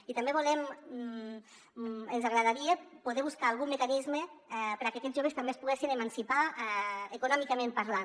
i també ens agradaria poder trobar algun mecanisme perquè aquests joves també es poguessin emancipar econòmicament parlant